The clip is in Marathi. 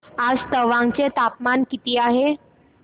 आज तवांग चे तापमान किती आहे